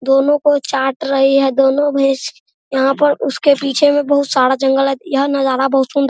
दोनों को चाट रही है दोनों भैस यहाँ पर उसके पीछे में बहुत सारा जंगल है यह नज़र बहुत सुन्दर --